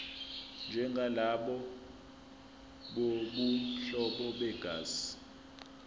njengalabo bobuhlobo begazi